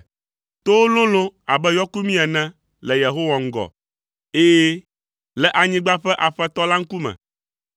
Towo lolo abe yɔkumi ene le Yehowa ŋgɔ, ɛ̃, le anyigba ƒe Aƒetɔ la ŋkume.